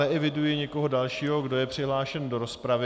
Neeviduji nikoho dalšího, kdo je přihlášen do rozpravy.